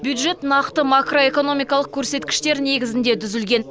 бюджет нақты макроэкономикалық көрсеткіштер негізінде түзілген